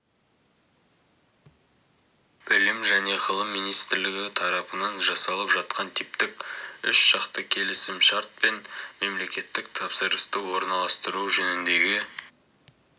білім және ғылым министрлігі тарапынан жасалып жатқан типтік үшжақты келісімшарт пен мемлекеттік тапсырысты орналастыру жөніндегі